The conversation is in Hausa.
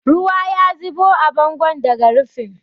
Ruwa ya zubo a bangon daga rufin.